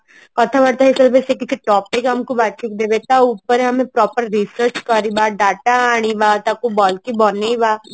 କଥା ବାର୍ତା ହେଇ ସରିଲା ପରେ ସେ କିଛି topic ଆମକୁ ବାଛିକି ଦେବେ ତା ଉପରେ ଆଏ proper research କରିବା ତା data ଆଣିବା ତାକୁ ଭଲକି ବନେଇବା